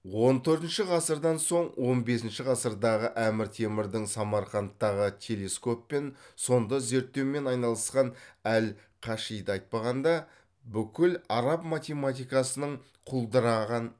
он төртінші ғасырдан соң он бесінші ғасырдағы әмір темірдің самарқандтағы телескоп мен сонда зерттеумен айналысқан әл кашиды айтпағанда бүкіл араб математикасының құлдыраған